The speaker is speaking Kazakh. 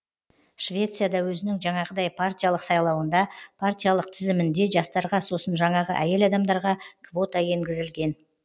швецияда өзінің жаңағыдай партиялық сайлауында партиялық тізімінде жастарға сосын жаңағы әйел адамдарға квота енгізілген